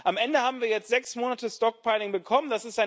Am Ende haben wir jetzt sechs Monate stockpiling bekommen.